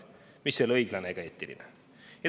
See pole ei õiglane ega eetiline.